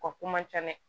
O ko man ca dɛ